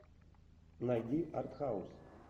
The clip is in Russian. найди артхаус